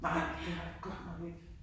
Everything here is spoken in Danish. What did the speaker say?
Nej! Det har jeg godt nok ikke!